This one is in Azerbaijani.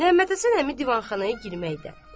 Məhəmməd Həsən əmi divanxanaya girməkdə.